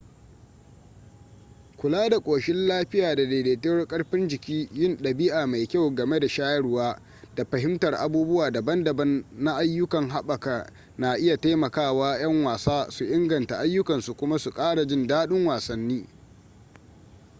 kula da ƙoshin lafiya da daidaituwar karfin jiki yin ɗabi'a mai kyau game da shayarwa da fahimtar abubuwa daban-daban na ayyukan haɓaka na iya taimaka wa 'yan wasa su inganta ayyukansu kuma su ƙara jin daɗin wasanni